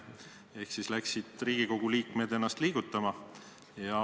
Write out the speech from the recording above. Ehk läksid Riigikogu liikmed ennast liigutama.